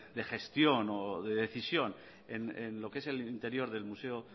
de gestión o de decisión en lo que es el interior del museo